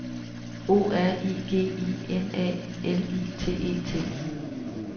O R I G I N A L I T E T